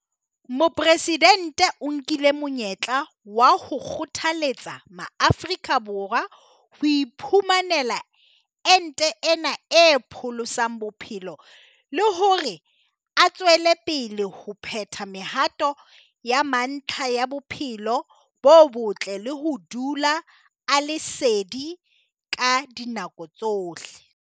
Mopresidente o nkile monyetla wa ho kgothaletsa Maafrika Borwa ho iphumanela ente ena e pholosang bophelo le hore a tswele pele ho phetha mehato ya mantlha ya bophelo bo botle le ho dula a le sedi ka dinako tsohle.